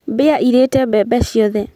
Mbĩa ĩrĩte mbembe ciothe